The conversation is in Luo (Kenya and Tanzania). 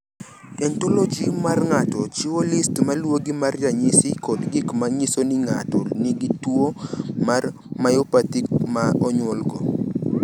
"Ontoloji mar ng’ato chiwo list ma luwogi mag ranyisi kod gik ma nyiso ni ng’ato nigi tuwo mar Myopathy ma onyuolgo."